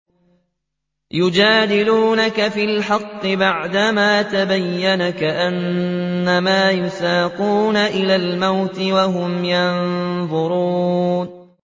يُجَادِلُونَكَ فِي الْحَقِّ بَعْدَمَا تَبَيَّنَ كَأَنَّمَا يُسَاقُونَ إِلَى الْمَوْتِ وَهُمْ يَنظُرُونَ